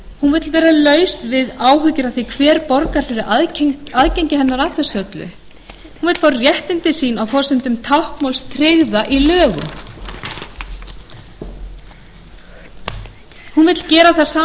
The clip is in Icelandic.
hún vill vera laus við áhyggjur af því hver borgar fyrir aðgengi hennar að þessu öllu vill fá réttindi sín á forsendum táknmálsins tryggð í lögum hún vill gera það sama